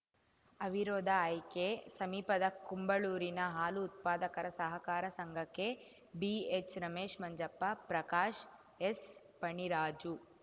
ಅವಿರೋಧ ಆಯ್ಕೆ ಸಮೀಪದ ಕುಂಬಳೂರಿನ ಹಾಲು ಉತ್ಪಾದಕರ ಸಹಕಾರ ಸಂಘಕ್ಕೆ ಬಿಎಚ್‌ರಮೇಶ್‌ ಮಂಜಪ್ಪ ಪ್ರಕಾಶ್‌ ಎಸ್‌ಫಣಿರಾಜು